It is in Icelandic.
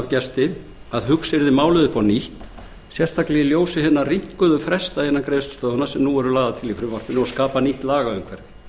gesti að hugsa yrði málið upp á nýtt sérstaklega í ljósi hinna rýmkuðu fresta innan greiðslustöðvunar sem nú eru lagðir til í frumvarpinu og skapa tryggt lagaumhverfi